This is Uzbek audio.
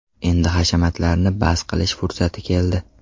Endi hashamatlarni bas qilish fursati keldi!